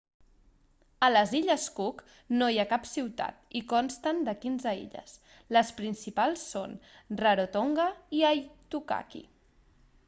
a les illes cook no hi ha cap ciutat i consten de 15 illes les principals són rarotonga i aitutaki